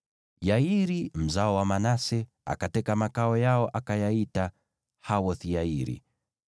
Yairi, mzao wa Manase, akateka makao yao, akayaita Hawoth-Yairi.